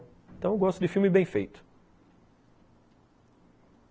Então eu gosto de filme bem feito.